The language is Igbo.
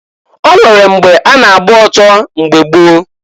O nwere mgbe a na-agba oto mgbe gboo.